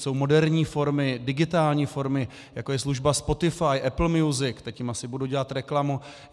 Jsou moderní formy, digitální formy, jako je služba Spotify, Apple Music - teď jim asi budu dělat reklamu.